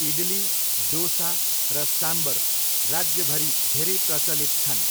इडली, डोसा र साम्बर राज्यभरि धेरै प्रचलित छन्।